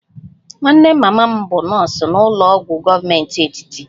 Nwanne mama m bụ nọọsụ n'ụlọ ọgwụ gọọmenti etiti